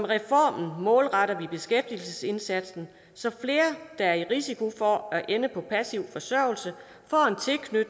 reformen målretter vi beskæftigelsesindsatsen så flere der er i risiko for at ende på passiv forsørgelse